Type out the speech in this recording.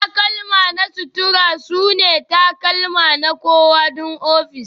takalma na sutura sune takalma na kowa don ofis